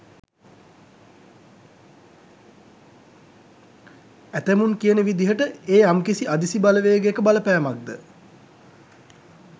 ඇතැමුන් කියන විදිහට ඒ යම්කිසි අදිසි බලවේගයක බලපෑමක් ද?